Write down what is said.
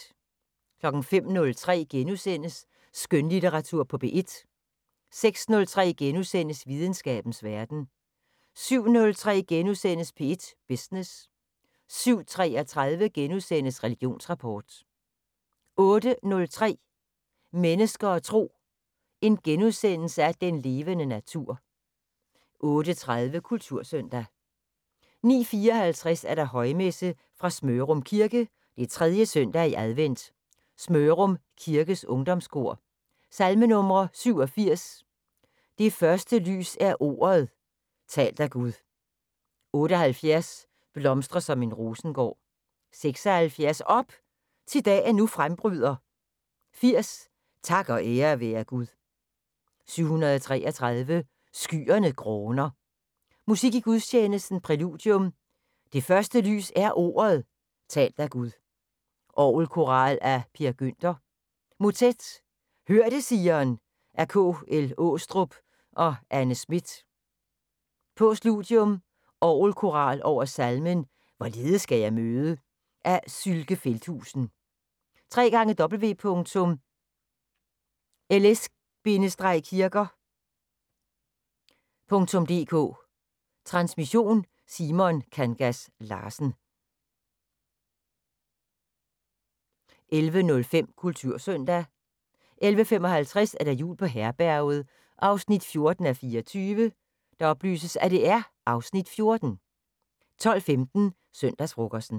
05:03: Skønlitteratur på P1 * 06:03: Videnskabens Verden * 07:03: P1 Business * 07:33: Religionsrapport * 08:03: Mennesker og Tro: Den levende natur * 08:30: Kultursøndag 09:54: Højmesse - fra Smørum Kirke. 3. søndag i advent. Smørum Kirkes Ungdomskor. Salmenumre: 87: "Det første lys er ordet, talt af Gud". 78: " Blomstre som en rosengård". 76: " Op! Thi dagen nu frembryder". 80: " Tak og ære være Gud". 733: " Skyerne gråner". Musik i gudstjenesten: Præludium: " "Det første lys er ordet, talt af Gud". Orgelkoral af Per Günther. Motet: "Hør det, Sion" af K. L. Aastrup og Anne Smith. Postludium: Orgelkoral over salmen "Hvorledes skal jeg møde" af Sylke Feldhusen. www.ls-kirker.dk Transmission: Simon Kangas Larsen. 11:05: Kultursøndag 11:55: Jul på Herberget 14:24 (Afs. 14) 12:15: Søndagsfrokosten